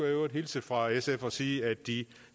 i øvrigt hilse fra sf og sige at de